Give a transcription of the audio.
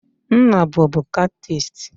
Nna bubu catchist.